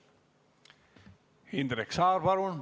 Indrek Saar, palun!